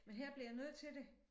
Men her bliver jeg nødt til det